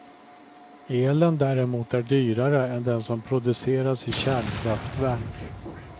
Elen däremot är dyrare än den som produceras i kärnkraftverk.